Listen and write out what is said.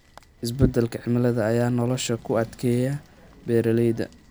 Isbeddelka cimilada ayaa nolosha ku adkeeyay beeralayda.